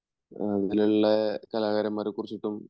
അങ്ങനെയുള്ള കലാകാരന്മാരെകുറിച്ചിട്ടും